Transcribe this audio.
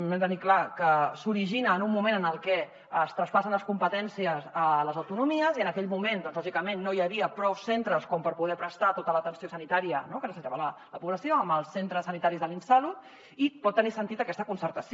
hem de tenir clar que s’origina en un moment en què es traspassen les competències a les autonomies i en aquell moment doncs lògicament no hi havia prou centres com per poder prestar tota l’atenció sanitària que necessitava la població amb els centres sanitaris de l’insalud i pot tenir sentit aquesta concertació